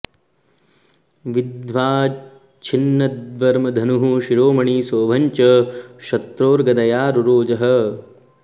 विद्ध्वाच्छिनद्वर्म धनुः शिरोमणिं सौभं च शत्रोर्गदया रुरोज ह